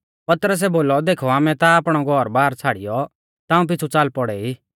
पतरसै बोलौ देखौ आमै ता आपणौ घौरबार छ़ाड़ियौ ताऊं पिछ़ु च़ाल पौड़ै ई